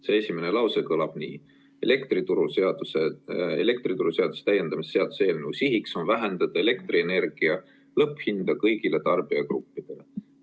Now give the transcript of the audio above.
See esimene lause kõlab nii: "Elektrituruseaduse täiendamise seaduse eelnõu sihiks on vähendada elektrienergia lõpphinda lühi- ja pikaajaliselt kõigile tarbijagruppidele.